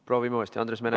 Palun, Andres Metsoja!